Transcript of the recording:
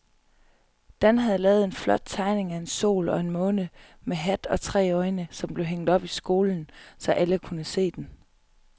Dan havde lavet en flot tegning af en sol og en måne med hat og tre øjne, som blev hængt op i skolen, så alle kunne se den.